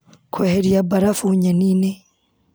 Kũeheria mbarabu nyeni-inĩ.